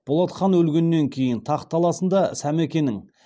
болат хан өлгеннен кейін тақ таласында сәмекенің